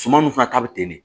Suman dun fana ta bɛ ten de